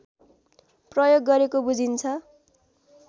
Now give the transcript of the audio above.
प्रयोग गरेको बुझिन्छ